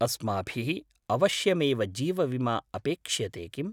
अस्माभिः अवश्यमेव जीवविमा अपेक्ष्यते किम्?